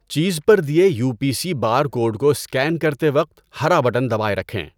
چیز پر the U P C barcode کو اسکین کرتے وقت ہرا بٹن دبائے رکھیں۔